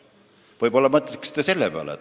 Võib-olla mõtlete selle peale.